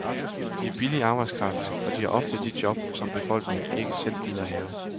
De er billig arbejdskraft, og de har ofte de job, som befolkningen ikke selv gider have.